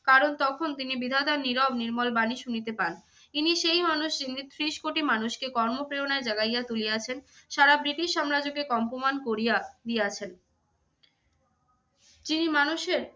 কারণ তখন তিনি বিধাতার নীরব নির্মল বাণী শুনিতে পান। তিনি সেই মানুষ যিনি ত্রিশ কোটি মানুষকে কর্মপ্রেরণায় জাগাইয়া তুলিয়াছেন, সারা ব্রিটিশ সাম্রাজ্যকে কম্পমান কোরিয়া দিয়েছেন। তিনি মানুষের